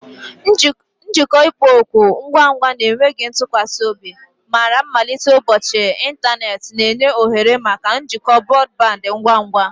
Njikọ ịkpọ oku, ngwa ngwa na enweghị ntụkwasị obi, mara mmalite ụbọchị ịntanetị, na-enye ohere maka njikọ brọdband ngwa ngwa.